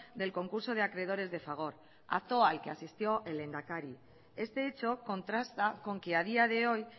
del concurso de acreedores de fagor acto al que asistió el lehendakari este hecho contrasta con que a día de hoy